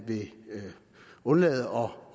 vil undlade